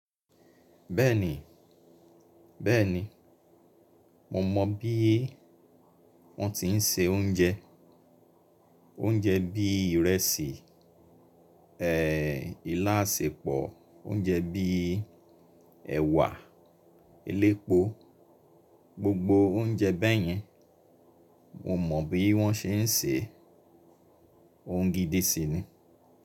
Bẹ́ẹ̀ni, bẹ́ẹ̀ni. Mo mọ̀ bí wọ́n ti ń se oúnjẹ, oúnjẹ bíi ìrẹsì, ilá asèpọ̀, oúnjẹ bí ẹwà elépo, gbogbo oúnjẹ bẹ́yẹn mo mọ̀ bí wọ́n ṣe ń se e, òún gídí si ni.